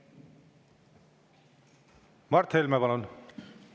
Mart Helme, palun!